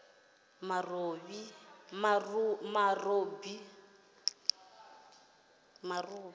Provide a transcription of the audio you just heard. marobi